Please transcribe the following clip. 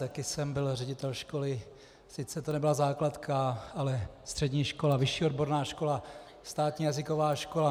Taky jsem byl ředitel školy, sice to nebyla základka, ale střední škola, vyšší odborná škola, státní jazyková škola.